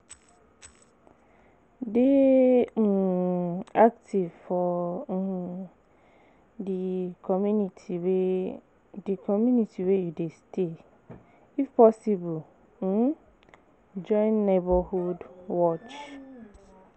Dey um active for um di community wey di community wey you dey stay if possible, um join neighbourhood watch